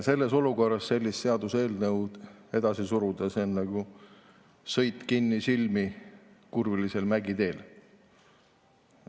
Sellises olukorras on selle seaduseelnõu edasi surumine nagu kinnisilmi sõit kurvilisel mägiteel.